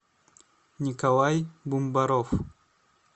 николай бумбаров